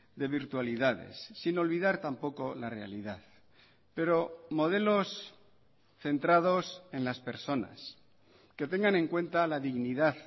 de virtualidades sin olvidar tampoco la realidad pero modelos centrados en las personas que tengan en cuenta la dignidad